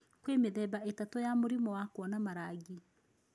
Kwĩ mĩthemba ĩtatũ ya mũrimũ wakuona marangi.